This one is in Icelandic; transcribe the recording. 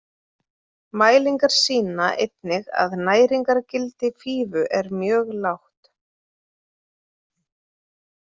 Mælingar sýna einnig að næringargildi fífu er mjög lágt.